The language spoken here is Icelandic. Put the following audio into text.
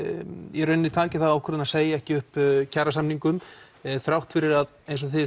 í rauninni takið þá ákvörðun að segja ekki upp kjarasamningum þrátt fyrir að eins og þið